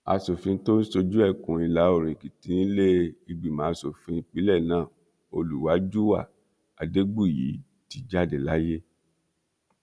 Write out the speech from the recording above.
aṣòfin tó ń ṣojú ẹkùn ìlàoòrùn èkìtì nílé ìgbìmọ asòfin ìpínlẹ náà olùwájúwà adégbùyí ti jáde láyé